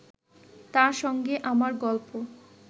তার সঙ্গে আমার গল্প